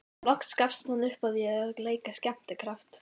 Loks gafst hann upp á því að leika skemmtikraft.